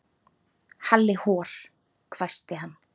Halli hor hvæsti hann.